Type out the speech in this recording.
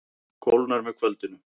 Kólnar með kvöldinu